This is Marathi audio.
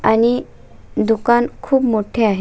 आणि दुकान खूप मोठे आहे.